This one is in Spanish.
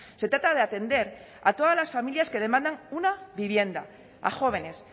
se trata de atender a todas las familias que demandan una vivienda a jóvenes